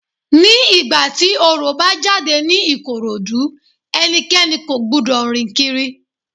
Ní ìgbà tí Orò bá jáde ní Ìkòròdú, ẹnikẹ́ni kò gbúdọ̀ rìn kiri.